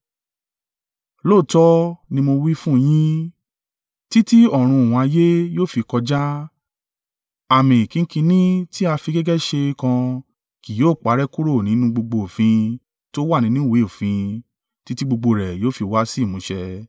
Lóòótọ́ ni mo wí fún un yín, títí ọ̀run òun ayé yóò fi kọjá, àmì kínkínní tí a fi gègé ṣe kan kì yóò parẹ́ kúrò nínú gbogbo òfin tó wà nínú ìwé òfin títí gbogbo rẹ̀ yóò fi wá sí ìmúṣẹ.